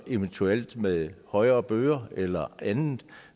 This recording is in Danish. eventuelt med højere bøder eller andet